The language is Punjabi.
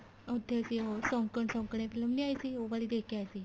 ਉੱਥੇ ਅਸੀਂ ਸ਼ੋਕਣ ਸ਼ੋਕਣੇ film ਨੀ ਆਈ ਸੀ ਉਹ ਵਾਲੀ ਦੇਖ ਕੇ ਆਏ ਸੀ